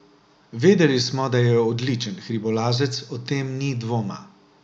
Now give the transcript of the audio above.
Vedeli smo, da je odličen hribolazec, o tem ni dvoma.